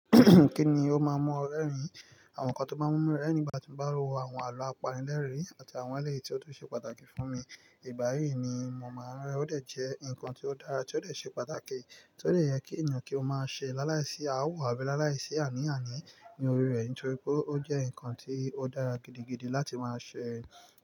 Kí ni ó máa ń mú ọ rẹ́rìn-ín? Àwọn nǹkan tó bá mú mi rẹ́rìn nígbà tí mo bá ń wo àwọn àlọ́ àpànìlẹ́rìn-ín àti àwọn eléyìí tí ó tún ṣe pàtàkì fún mi. Ìgbà yìí ni mo máa ń rẹ́ rẹ̀ ó dẹ̀ jẹ́ nǹkan tí ó dára, tí ó dẹ̀ ṣe pàtàkì, tí ó dẹ̀ yẹ kí ènìyàn kí ó máa ṣe láláìsí awọ àbí láláìsí àníàní ní orí rẹ̀ nítorí pé ó jẹ́ nǹkan tí ó dára gidigidi láti máa ṣe.